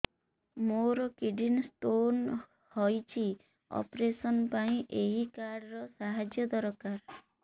ମୋର kidney stone ହଇଛି operation ପାଇଁ ଏହି କାର୍ଡ ର ସାହାଯ୍ୟ ଦରକାର